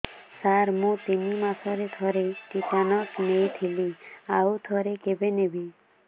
ସାର ମୁଁ ତିନି ମାସରେ ଥରେ ଟିଟାନସ ନେଇଥିଲି ଆଉ ଥରେ କେବେ ନେବି